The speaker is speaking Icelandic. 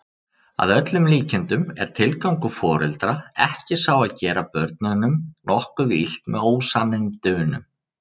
Að öllum líkindum er tilgangur foreldra ekki sá að gera börnunum nokkuð illt með ósannindunum.